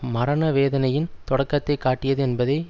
மரண வேதனையின் தொடக்கத்தை காட்டியது என்பதை